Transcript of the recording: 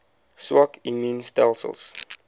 swak immuun stelsels